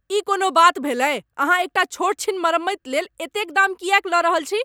ई कोनो बात भेलै। अहाँ एकटा छोट छीन मरम्मति लेल एतेक दाम किएक लऽ रहल छी?